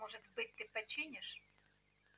может быть ты починишь